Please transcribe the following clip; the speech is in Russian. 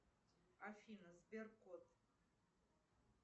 афина сбер кот